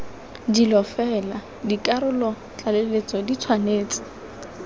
dilo fela dikarolotlaleletso di tshwanetse